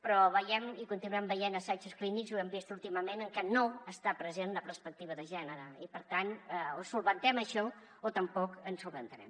però veiem i continuem ve·ient assajos clínics i ho hem vist últimament en què no està present la perspectiva de gènere i per tant o solucionem això o tampoc ho solucionarem